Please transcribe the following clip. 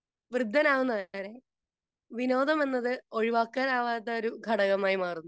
Speaker 2 വൃദ്ധനാകുന്നതുവരെ വിനോദം എന്നത് ഒഴിവാക്കാനാവാത്ത ഒരു ഘടകമായി മാറുന്നു.